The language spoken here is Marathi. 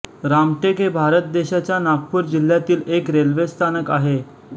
रामटेक हे भारत देशाच्या नागपूर जिल्ह्यातील एक रेल्वे स्थानक आहे